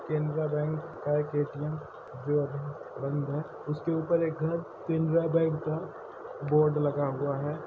Canara bank का एक A T M जो अभी बंद है | उसले ऊपर एक घर केनरा बेंक का बोर्ड लगा हुआ है।